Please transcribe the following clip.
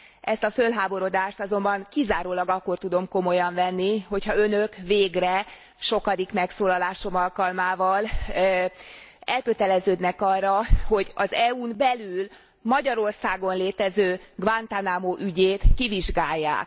Ezt a fölháborodást azonban kizárólag akkor tudom komolyan venni, hogyha önök végre, sokadik megszólalásom alkalmával, elköteleződnek arra, hogy az EU n belül, Magyarországon létező Guantánamo ügyét kivizsgálják.